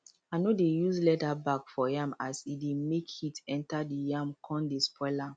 i no dey use leather bag for yam as e dey make heat enter the yam con dey spoil am